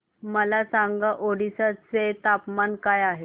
मला सांगा ओडिशा चे तापमान काय आहे